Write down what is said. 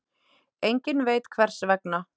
Enginn veit hvers vegna.